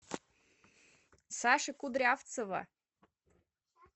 саши кудрявцева